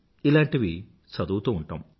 ఇలాంటివి చదువుతూ ఉంటాము